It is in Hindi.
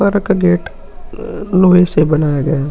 पर का गेट लोहे से बनाया गया है।